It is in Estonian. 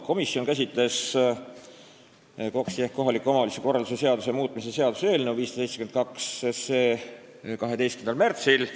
Komisjon käsitles KOKS-i ehk kohaliku omavalitsuse korralduse seaduse muutmise seaduse eelnõu 12. märtsil.